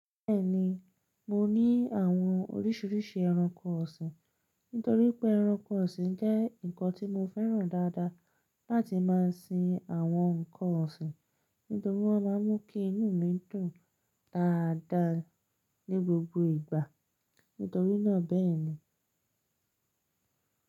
Bẹ́ẹ̀ni, mo ní àwọn oríṣiríṣi ẹranko ọ̀sìn, nítorí pé ẹranko ọ̀sìn jẹ́ nǹkan tí mo fẹ́ràn dáadáa láti máa sin àwọn nǹkan ọ̀sìn, nítorí wọ́n máa ń mú kí inú mi dùn dáadáa ní gbogbo ìgbà, nítorí náà bẹ́ẹ̀ ni.